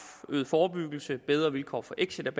øget forebyggelse bedre vilkår for exit